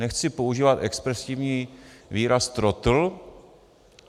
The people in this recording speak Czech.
Nechci používat expresivní výraz trotl.